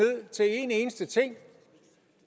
eneste ting